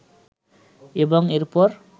এবং এরপর